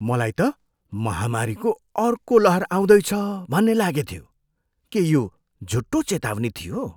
मलाई त महामारीको अर्को लहर आउँदैछ भन्ने लागेथ्यो। के यो झुटो चेतावनी थियो?